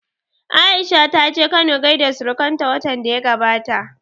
Aisha ta je Kano gaida surukan ta watan da ya gabata